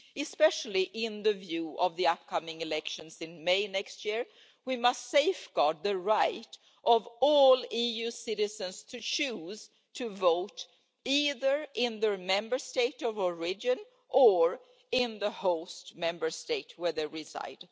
Especially in view of the upcoming elections in May next year, we must safeguard the right of all EU citizens to choose to vote either in their Member State of origin or in the host Member State where they reside.